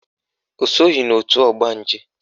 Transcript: O soghi n'òtù ọgbanje